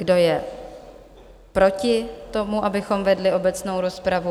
Kdo je proti tomu, abychom vedli obecnou rozpravu?